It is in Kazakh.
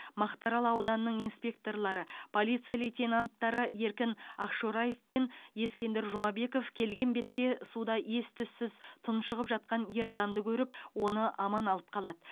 мақтаарал ауданының инспекторлары полиция лейтенанттары еркін ақшораев пен ескендір жұмабеков келген бетте суда ес түссіз тұншығып жатқан ер адамды көріп оны аман алып қалады